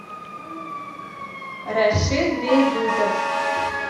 рашид бейбутов